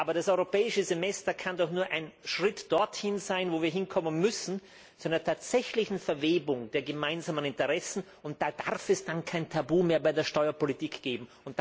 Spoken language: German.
Das Europäische Semester kann jedoch nur ein Schritt dorthin sein, wo wir hinkommen müssen, zu einer tatsächlichen Verwebung der gemeinsamen Interessen. Da darf es dann kein Tabu mehr bei der Steuerpolitik geben.